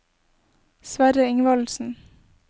Sverre Ingvaldsen